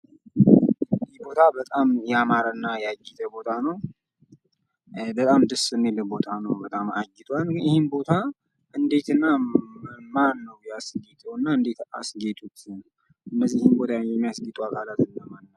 ይህ ቦታ በጣም ያማረ እና ያጌጠ ቦታ ነው። በጣም ደስ የሚል ቦታ ነው። በጣም አጊጧል። ይህን ቦታ እነዴት እና ማን ነው ያስጌጠው? እነዚህን ቦታ የሚያስጌጡ አካላቶች እነማን ናቸው?